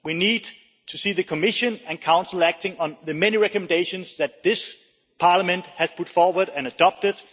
We need to see the Commission and Council acting on the many recommendations that this Parliament has put forward and adopted.